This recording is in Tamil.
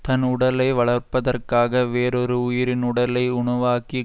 தன் உடலை வளர்ப்பதற்காக வேறொரு உயிரின் உடலை உணவாக்கி